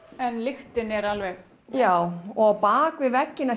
en lyktin er alveg já og á bakvið vegginn